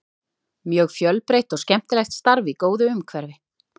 Mjög fjölbreytt og skemmtilegt starf í góðu umhverfi.